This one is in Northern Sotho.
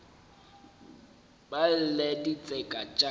ba lle ditseka tša ka